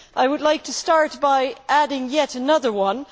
I would like to start by adding yet another one.